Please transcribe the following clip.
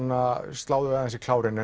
slá þau aðeins í klárinn